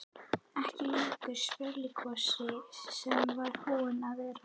Ekki lengur sprelligosinn sem hann var búinn að vera.